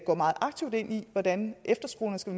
går meget aktivt ind i hvordan efterskolerne skal